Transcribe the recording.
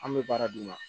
An bɛ baara d'u ma